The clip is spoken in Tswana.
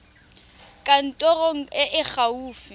kantorong e e fa gaufi